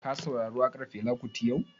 Ka saurari waƙan Fela kuti yau?